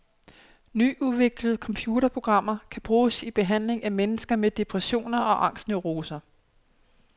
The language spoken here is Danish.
Nyudviklede computerprogrammer kan bruges i behandlingen af mennesker med depressioner og angstneuroser.